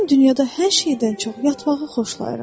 Mən dünyada hər şeydən çox yatmağı xoşlayıram.